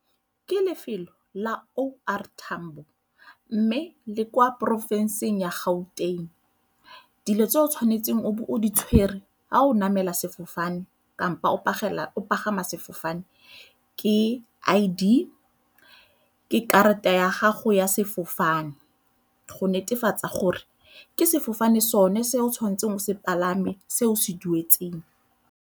Ke lefelo la O R Tambo mme le kwa porofenseng ya Gauteng. Dilo tse o tshwanetseng o be o di tshwere ha o namela sefofane kampo o pagama sefofane ke I_D, ke karata ya gago ya sefofane go netefatsa gore ke sefofane sone se o tshwanetseng o se palame se o se duetseng.